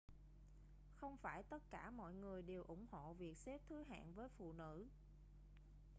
không phải tất cả mọi người đều ủng hộ việc xếp thứ hạng với phụ nữ